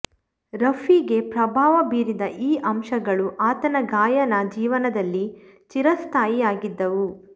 ರಫಿಗೆ ಪ್ರಭಾವ ಬೀರಿದ ಈ ಅಂಶಗಳು ಆತನ ಗಾಯನ ಜೀವನದಲ್ಲಿ ಚಿರಸ್ಥಾಯಿ ಯಾಗಿದ್ದವು